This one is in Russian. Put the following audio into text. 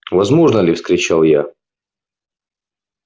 возможно ли вскричал я